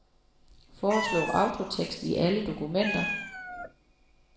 Foreslå autotekst i alle dokumenter.